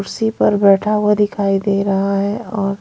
कुर्सी पर बैठा हुआ दिखाई दे रहा है और--